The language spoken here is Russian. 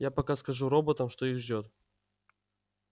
я пока скажу роботам что их ждёт